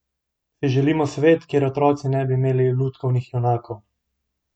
Si želimo svet, kjer otroci ne bi imeli lutkovnih junakov?